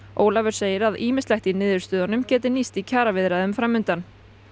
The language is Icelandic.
Ólafur segir að ýmislegt í niðurstöðunum geti nýst í kjaraviðræðum fram undan